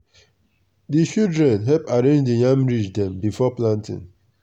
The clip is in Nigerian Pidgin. di children help arrange di yam ridge dem before planting.